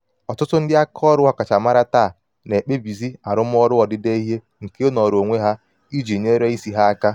ọtụtụ ndị um aka um ọrụ ọkachamara taa na-ekpebizi arụmọrụ odide ihe nke ịnọrọ onwe iji nyere isi ha aka.